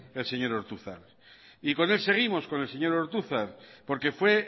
el señor ortuzar y con él seguimos con el señor ortuzar porque fue